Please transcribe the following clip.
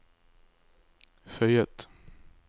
føyet